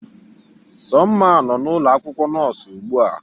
Somma nọ n'ụlọ akwụkwọ nọọsụ ugbu a